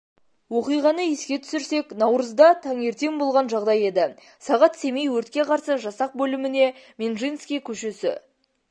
оқиғаны еске түсірсек наурызда таңертен болған жағдай еді сағат семей өртке қарсы жасақ бөліміне менжинский көшесі